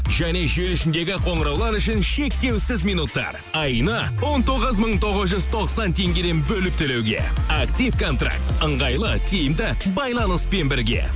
және желі ішіндегі қоңыраулар үшін шектеусіз минуттар айына он тоғыз мың тоғыз жүз тоқсан теңгеден бөліп төлеуге актив контракт ыңғайлы тиімді байланыспен бірге